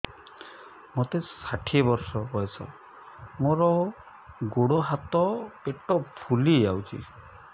ମୋତେ ଷାଠିଏ ବର୍ଷ ବୟସ ମୋର ଗୋଡୋ ହାତ ପେଟ ଫୁଲି ଯାଉଛି